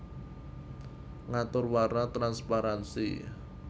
Ngatur warna transparansi